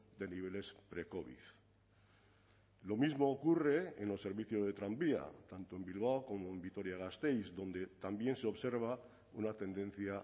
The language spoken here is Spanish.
de niveles precovid lo mismo ocurre en los servicios de tranvía tanto en bilbao como en vitoria gasteiz donde también se observa una tendencia